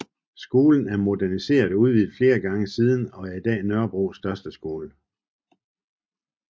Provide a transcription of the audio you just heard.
Skolen er moderniseret og udvidet flere gange siden og er i dag Nørrebros største skole